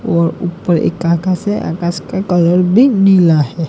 वह ऊपर एक आकाश है आकाश का कलर भी नीला है।